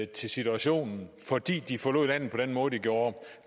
til situationen fordi vi forlod landet på den måde vi gjorde